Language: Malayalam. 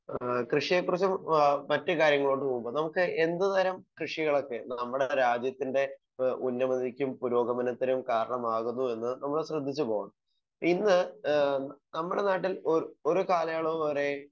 സ്പീക്കർ 1 ഏഹ് കൃഷിയെക്കുറിച്ചും ഏഹ് മറ്റു കാര്യങ്ങളോട്ട് പോകുമ്പോ നമുക്ക് എന്ത് തരം കൃഷികളൊക്കെ നമ്മുടെ രാജ്യത്തിൻ്റെ ഏഹ് ഉന്നമനക്കും പുരോഗമനത്തിനും കാരണമാകുന്നുവെന്ന് നമ്മൾ ശ്രദ്ധിച്ചു പോവാ ഇന്ന് ഏഹ് നമ്മുടെ നാട്ടിൽ ഒരു ഒരു കാലയളവ് വരെ,